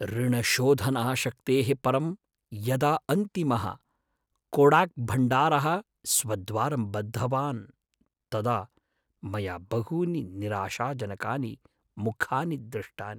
ऋणशोधनाशक्तेः परं यदा अन्तिमः कोडाक्भण्डारः स्वद्वारं बद्धवान् तदा मया बहूनि निराशाजनकानि मुखानि दृष्टानि।